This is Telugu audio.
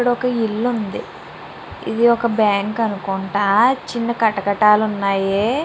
ఇక్కడ ఒక ఇల్లు ఉంది. ఇది ఒక బ్యాంకు అనుకుంటా చిన్న కటకటాలు ఉన్నాయి.